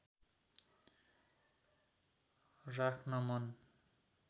राख्न मन